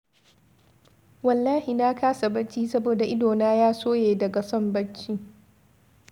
Wallahi na kasa bacci saboda idona ya soye daga son bacci.